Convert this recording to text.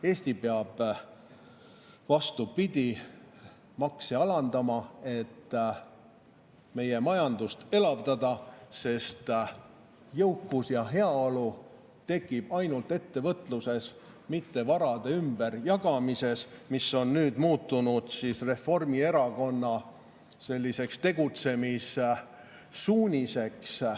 Eesti peab, vastupidi, makse alandama, et meie majandust elavdada, sest jõukus ja heaolu tekib ainult ettevõtluses, mitte varade ümberjagamises, mis on nüüd muutunud Reformierakonna tegutsemissuuniseks.